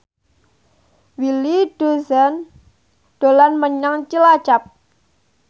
Willy Dozan dolan menyang Cilacap